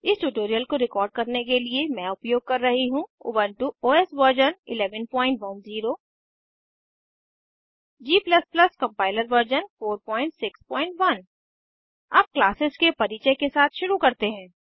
इस ट्यूटोरियल को रिकॉर्ड करने के लिए मैं उपयोग कर रही हूँ Ubuntu OS version 1110 g compiler version 461 अब क्लासेज़ के परिचय के साथ शुरू करते हैं